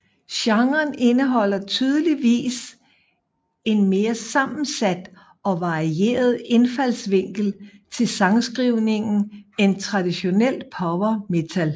Genren indeholder tydeligvis en mere sammensat og varieret indfaldsvinkel til sangskrivningen end traditionelt power metal